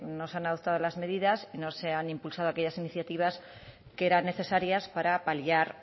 no se han adoptado las medidas no se han impulsado aquellas iniciativas que eran necesarias para paliar